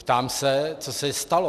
Ptám se, co se stalo.